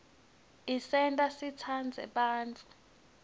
isenta sitsandze bantfu